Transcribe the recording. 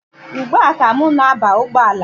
Ugbua ka m na-aba ụgbọala.